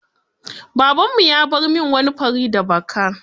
Babanmu ya bar min wani kwari da baka.